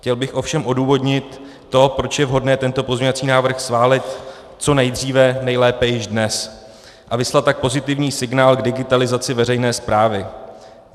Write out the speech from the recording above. Chtěl bych ovšem odůvodnit to, proč je vhodné tento pozměňovací návrh schválit co nejdříve, nejlépe již dnes, a vyslat tak pozitivní signál k digitalizaci veřejné správy.